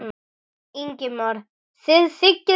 Ingimar: Þið þiggið þetta?